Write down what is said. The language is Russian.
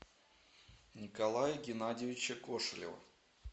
николая геннадьевича кошелева